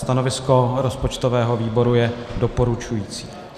Stanovisko rozpočtového výboru je doporučující.